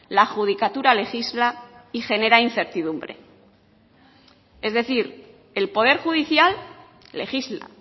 la judicatura legisla y genera incertidumbre es decir el poder judicial legisla